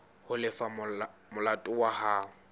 ho lefa molato wa hao